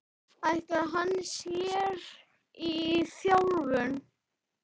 Ætlar hann sér í þjálfun?